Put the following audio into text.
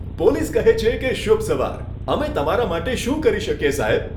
Police કહે છે કે, શુભ સવાર. અમે તમારા માટે શું કરી શકીએ, સાહેબ?